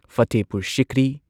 Fatehpur Sikri